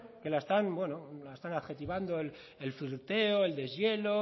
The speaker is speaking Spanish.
que la están adjetivando el flirteo el deshielo